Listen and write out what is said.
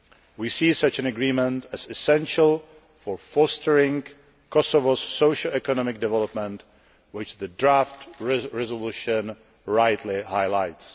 We see such an agreement as essential for fostering Kosovo's socio economic development, which the draft resolution rightly highlights.